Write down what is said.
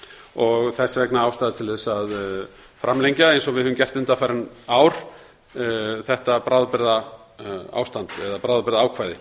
og þess vegna ástæða til að framlengja eins og við höfum gert undanfarin ár þetta bráðabirgðaákvæði